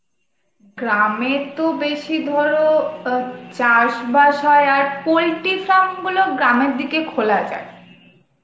গ্রাম এর তো বেশি ধরো অ্যাঁ চাষ বাস হয় আর poultry farm গুলো গ্রাম এর দিকে খোলা যায়